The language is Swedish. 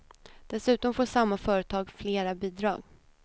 Dessutom får samma företag flera bidrag.